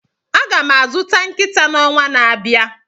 Aga m azụta nkịta n'ọnwa na-abịa.